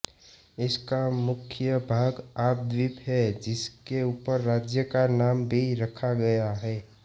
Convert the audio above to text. इसका मुख्य भाग याप द्वीप है जिसके ऊपर राज्य का नाम भी रखा गया है